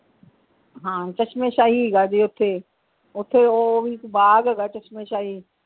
ਹਾਂ ਚਸ਼ਮੇ ਸ਼ਾਹੀ ਹੈਗਾ ਜੇ ਓਥੇ ਓਥੇ ਉਹ ਵੀ ਬਾਗ ਹੈਗਾ ਚਸ਼ਮੇ ਸ਼ਾਹੀ।